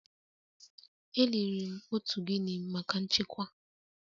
E liri m otu Guinea maka nchekwa